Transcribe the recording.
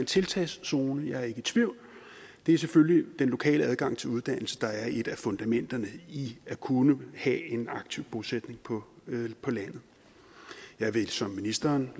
tiltagszone jeg er ikke i tvivl det er selvfølgelig den lokale adgang til uddannelse der er et af fundamenterne i at kunne have en aktiv bosætning på landet jeg vil som ministeren